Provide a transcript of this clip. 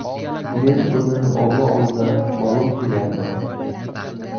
Men buni omma oldida ma’lum qilyapman.